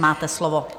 Máte slovo.